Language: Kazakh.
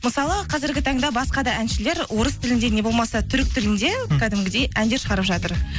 мысалы қазіргі таңда басқа да әншілер орыс тілінде не болмаса түрік тілінде м кәдімгідей әндер шығарып жатыр